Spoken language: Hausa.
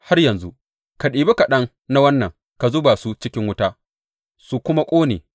Har yanzu, ka ɗibi kaɗan na waɗannan ka zuba su cikin wuta su kuma ƙone.